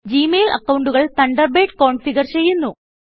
G mail അക്കൌണ്ടുകൾ Thunderbird configure ചെയ്യുന്നു